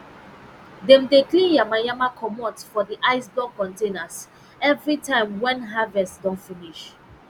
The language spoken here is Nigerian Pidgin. dem dey clean yama yama comot for di ice block containers evri time wen harvest don finish